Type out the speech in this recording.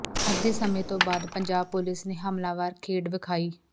ਅੱਧੇ ਸਮੇਂ ਤੋਂ ਬਾਅਦ ਪੰਜਾਬ ਪੁਲੀਸ ਨੇ ਹਮਲਾਵਰ ਖੇਡ ਵਿਖਾਈ